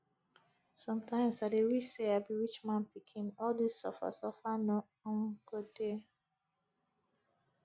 sometimes i dey wish say i be rich man pikin all dis suffer suffer no um go dey